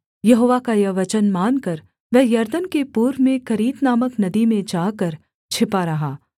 यहोवा का यह वचन मानकर वह यरदन के पूर्व में करीत नामक नदी में जाकर छिपा रहा